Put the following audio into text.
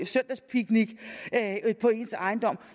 søndagspicnic på ens ejendom